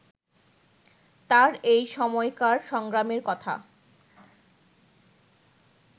তাঁর এই সময়কার সংগ্রামের কথা